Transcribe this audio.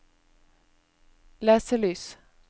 leselys